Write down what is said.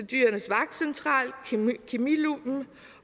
dyrenes vagtcentral kemiluppen